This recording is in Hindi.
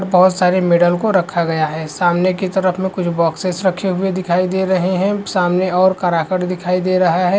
बहुत सारे मैडल को रखा गया है सामने की तरफ मे कुछ बॉक्सेस रखे हुए दिखाई दे रहै है सामने और कराकेट दिखाई दे रहा है ।